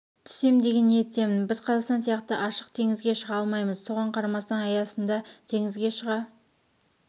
түссем деген ниеттемін біз қазақстан сияқты ашық теңізге шыға алмаймыз соған қарамастан аясында теңізге шыға